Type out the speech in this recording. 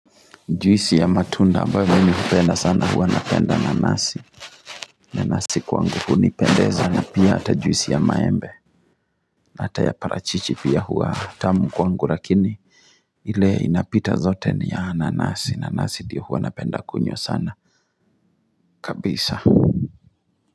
Juisi ya matunda ambayo mimi hupenda sana huwa napenda nanasi nanasi kwangu hunipendeza na pia ata juisi ya maembe na ata ya parachichi pia huwa tamu kwangu lakini ile inapita zote ni ya nanasi. Nanasi ndiyo huwa napenda kunywa sana kabisa.